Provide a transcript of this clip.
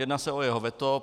Jedná se o jeho veto.